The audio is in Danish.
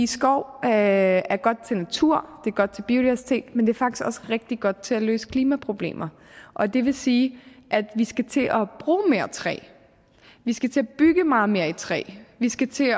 skov er er godt til natur det er godt til biodiversitet men det er faktisk også rigtig godt til at løse klimaproblemer og det vil sige at vi skal til at bruge mere træ vi skal til at bygge meget mere i træ vi skal til